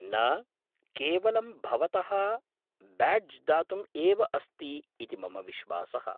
न, केवलं भवतः ब्याड्ज् दातुम् एव अस्ति इति मम विश्वासः।